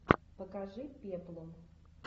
покажи пеплум